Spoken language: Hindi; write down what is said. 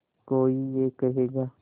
कोई ये कहेगा